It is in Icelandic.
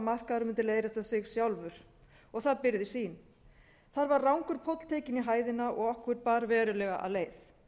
markaðurinn mundi leiðrétta sig sjálfur og það byrgði sýn þar var rangur póll tekinn í hæðina og okkur bar verulega af leið